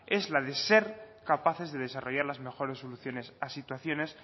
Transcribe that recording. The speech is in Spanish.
es la de ser capaces de desarrollar las mejores soluciones a situaciones